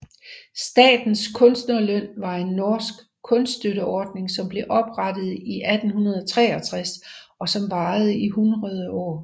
Statens kunstnerlønn var en norsk kunststøtteordning som blev oprettet i 1863 og som varede i hundrede år